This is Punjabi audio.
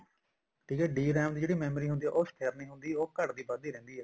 ਠੀਕ ਹੈ DRAM ਦੀ memory ਉਹ ਸਥਿਰ ਨੀ ਹੁੰਦੀ ਘੱਟਦੀ ਵੱਧਦੀ ਰਹਿੰਦੀ ਹੈ